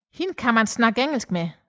Hende kan han tale engelsk med